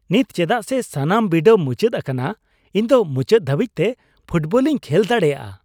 ᱱᱤᱛ ᱪᱮᱫᱟᱜ ᱥᱮ ᱥᱟᱱᱟᱢ ᱵᱤᱰᱟᱹᱣ ᱢᱩᱪᱟᱹᱫ ᱟᱠᱟᱱᱟ ᱤᱧ ᱫᱚ ᱢᱩᱪᱟᱹᱫ ᱫᱷᱟᱹᱵᱤᱡ ᱛᱮ ᱯᱷᱩᱴᱵᱚᱞᱤᱧ ᱠᱷᱮᱞ ᱫᱟᱲᱮᱭᱟᱜᱼᱟ ᱾